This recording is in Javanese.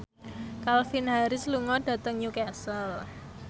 Calvin Harris lunga dhateng Newcastle